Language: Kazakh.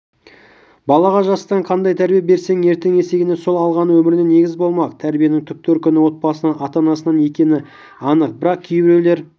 балаға жастан қандай тәрбие берсең ертең есейгенде сол алғаны өміріне негіз болмақ тәрбиенің түп төркіні отбасынан ата-анасынан екені анық бірақ кейбіреулер